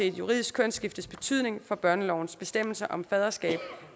et juridisk kønsskiftes betydning for børnelovens bestemmelser om faderskab